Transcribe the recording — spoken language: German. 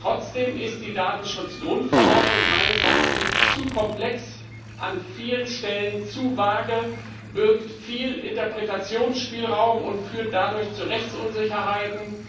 Trotzdem ist die Datenschutzgrundverordnung meines Erachtens zu komplex, an vielen Stellen zu vage, birgt viel Interpretationsspielraum und führt dadurch zu Rechtsunsicherheiten.